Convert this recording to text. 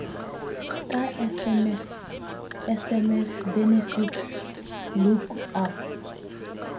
ka sms sms benefit lookup